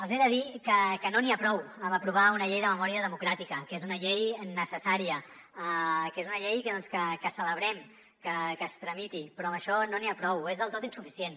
els he de dir que no n’hi ha prou amb aprovar una llei de memòria democràtica que és una llei necessària que és una llei que celebrem que es tramiti però amb això no n’hi ha prou és del tot insuficient